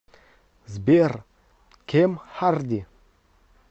сбер кем харди